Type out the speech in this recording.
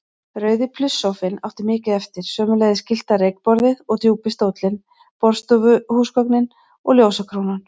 Rauði plusssófinn átti mikið eftir, sömuleiðis gyllta reykborðið og djúpi stóllinn, borðstofuhúsgögnin og ljósakrónan.